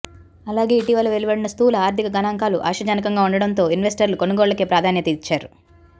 అలాగే ఇటీవల వెలువడిన స్థూల ఆర్థిక గణాంకాలు ఆశాజనకంగా ఉండటంతో ఇన్వెస్టర్లు కొనుగోళ్లకే ప్రాధాన్యత ఇచ్చారు